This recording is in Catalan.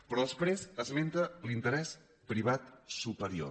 però després esmenta l’interès privat superior